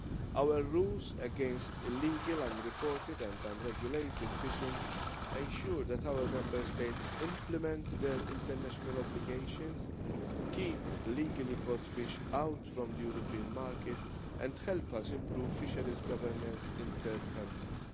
Our rules against illegal, unreported and unregulated fishing ensure that our Member States implement their international obligations, keep illegally caught fish out of the European market and help us improve fisheries governance in third countries.